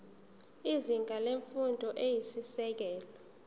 izinga lemfundo eyisisekelo